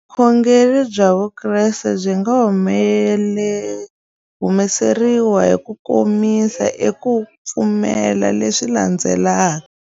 Vukhongeri bya Vukreste byi nga hlamuseriwa hi kukomisa eka ku pfumela leswi landzelaka.